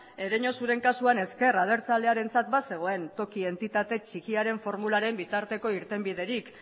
ereñotzuren kasuan ezker abertzalearentzat bazegoen toki entitate txikiaren formularen bitarteko irtenbiderik